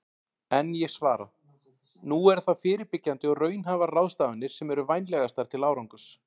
En ég svara: Nú eru það fyrirbyggjandi og raunhæfar ráðstafanir sem eru vænlegastar til árangurs.